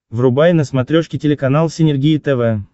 врубай на смотрешке телеканал синергия тв